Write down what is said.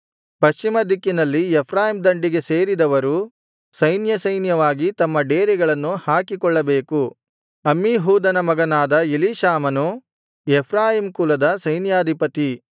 ಪಶ್ಚಿಮ ದಿಕ್ಕಿನಲ್ಲಿ ಎಫ್ರಾಯೀಮ್ ದಂಡಿಗೆ ಸೇರಿದವರು ಸೈನ್ಯಸೈನ್ಯವಾಗಿ ತಮ್ಮ ಡೇರೆಗಳನ್ನು ಹಾಕಿಕೊಳ್ಳಬೇಕು ಅಮ್ಮೀಹೂದನ ಮಗನಾದ ಎಲೀಷಾಮಾನು ಎಫ್ರಾಯೀಮ್ ಕುಲದ ಸೈನ್ಯಾಧಿಪತಿ